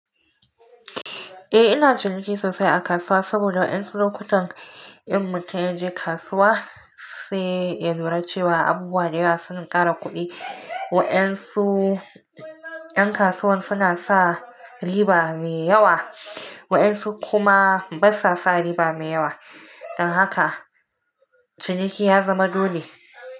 Eh ina ciniki sosai a kasuwa saboda waɗansu lokutan in mutun ya je kasuwa sai ya lura cewa abubuwa da yawa suna ƙara kuɗi. Waɗansu ɗan kasuwan suna sa riba mai yawa waɗansu kuma basa sa riba mai yawa don haka ciniki ya zama dole.